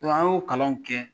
An y'o kalanw kɛ